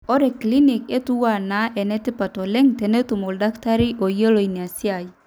ore clinic entuaa naa enitipat oleng tenitum oldakitari oyiolo ina siai